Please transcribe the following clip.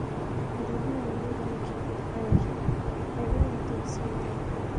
I dey do online banking and my bank details dey safe there.